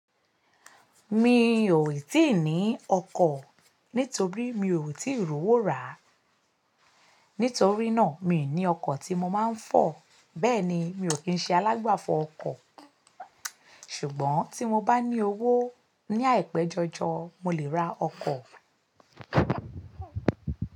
Mi ò tíì ní ọkọ̀ nítorí mi ò tíì ri owó rà. Nítorí náà, mi ò ní ọkọ̀ tí mo máa ń fọ̀, bẹ́ẹ̀ ni mi ò kín ṣe alágbàfọ̀ ọkọ̀. Ṣùgbọ́n tí mo bá ní owó ní àìpéjọjọ, mo lè ra ọkọ̀.